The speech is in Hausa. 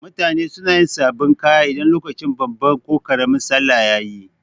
Mutane suna yin sabin kaya idan lokacin babban ko karamin sallah yayi